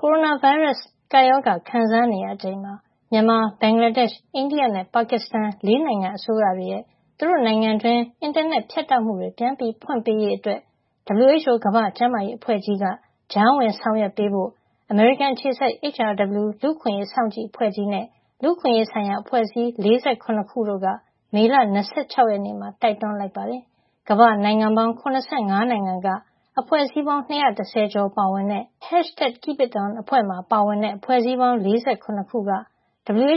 ကိုရိုနာဗိုင်းရပ်စ် ကပ်ရောဂါခံစားနေရချိန်မှာ မြန်မာ၊ ဘင်္ဂလားဒေ့ရှ်၊ အိန္ဒိယနဲ့ ပါကစ္စတန် ၄ နိုင်ငံအစိုးရတွေရဲ့ သူတို့နိုင်ငံတွင်း အင်တာနက် ဖြတ်တောက်မှုတွေ ပြန်ဖွင့်ပေးရေး အတွက် WHO ကမ္ဘာ့ကျန်းမာရေး အဖွဲ့ကြီးက ကြားဝင်ဆောင်ရွက်ပေးဖို့ အမေရိကန်အခြေစိုက် HRW လူ့အခွင့်ရေး စောင့်ကြည့် အဖွဲ့ကြီးနဲ့ လူ့အခွင့်ရေးဆိုင်ရာ အဖွဲ့အစည်း ၄၇ ခုတို့က မေလ ၂၆ ရက်နေ့မှာ တိုက်တွန်းလိုက်ပါတယ်။ ကမ္ဘာ့ နိုင်ငံပေါင်း ၇၅ နိုင်ငံက အဖွဲ့စည်းပေါင်း ၂၁၀ ကျော် ပါဝင်တဲ့ #KeepItOn အဖွဲ့မှာ ပါဝင်တဲ့ အဖွဲ့စည်းပေါင်း ၄၇ ခုက